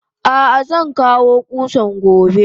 Ah ah zankawo kusan gobe.